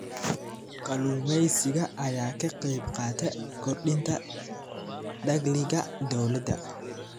Kalluumeysiga ayaa ka qayb qaata kordhinta dakhliga dowladda.